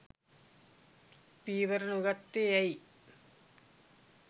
පියවර නොගත්තේ ඇයි